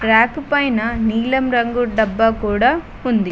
Rack పైన నీలం రంగు డబ్బా కూడా ఉంది.